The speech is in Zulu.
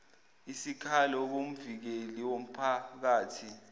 isikhalo kumvikeli womphakathi